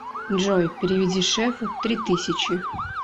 джой переведи шефу три тысячи